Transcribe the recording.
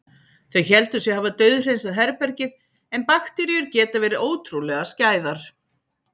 Þau héldu sig hafa dauðhreinsað herbergið- en bakteríur geta verið ótrúlega skæðar.